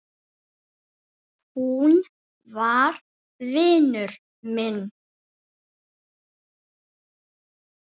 Hún var vinur minn.